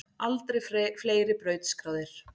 Aldrei fleiri brautskráðir